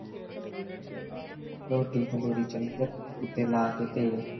ਰੋਟੀ ਥੱਲੇ ਦੀ ਉੱਤੇ ਲਾ ਕੇ ਤੇਲ